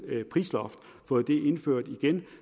prisloft